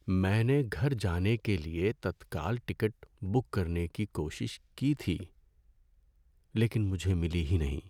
میں نے گھر جانے کے لیے تتکال ٹکٹ بک کرنے کی کوشش کی تھی لیکن مجھے ملی ہی نہیں۔